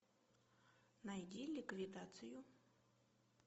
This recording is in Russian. найди ликвидацию